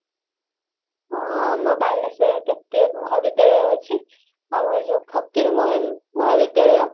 ହଁ ଆମ ବାଲେଶ୍ଵର ରେ କେତେ ମହାବିଦ୍ୟାଳୟ ଅଛି ଆଉ ଯୋଉ ଫକିର ମୋହନ ମହାବିଦ୍ୟାଳୟ